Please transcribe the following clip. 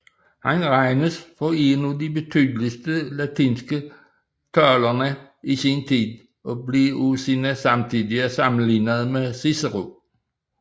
Han regnes for en af de betydeligste latinske talere i sin tid og blev af sine samtidige sammenlignet med Cicero